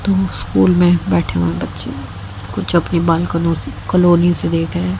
दो स्कूल में बैठे हुए बच्चे कुछ अपनी बालकोंनी कॉलोनी से देख रहे--